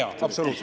Absoluutselt!